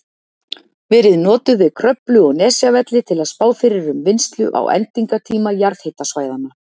verið notuð við Kröflu og Nesjavelli til að spá fyrir um vinnslu á endingartíma jarðhitasvæðanna.